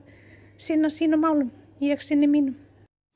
sinna sínum málum ég sinni mínum